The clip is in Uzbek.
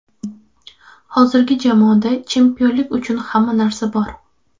Hozirgi jamoada chempionlik uchun hamma narsa bor.